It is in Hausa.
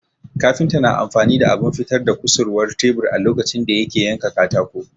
Kafinta na amfani da abin fitar da kusurwar tebur a lokacin da yake yanka katako